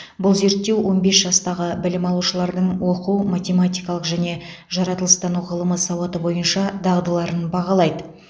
бұл зерттеу он бес жастағы білім алушылардың оқу математикалық және жаратылыстану ғылымы сауаты бойынша дағдыларын бағалайды